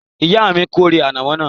Ìyá mi a kórè ànàmọ́ náà